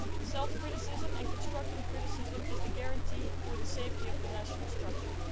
Self criticism and constructive criticism are the guarantee for the safety of the national structure.